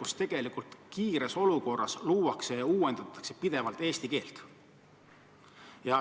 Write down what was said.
vastavalt olukorrale luuakse kiiresti vasteid ja uuendatakse pidevalt eesti keelt.